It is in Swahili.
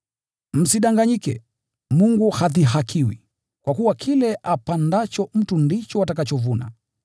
Msidanganyike, Mungu hadhihakiwi. Kwa kuwa kile apandacho mtu ndicho atakachovuna.